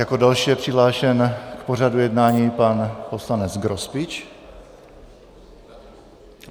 Jako další je přihlášen k pořadu jednání pan poslanec Grospič.